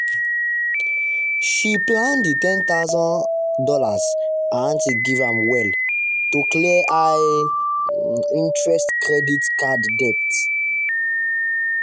she plan the one thousand dollars0 her aunty give am well to clear high um interest credit card debt.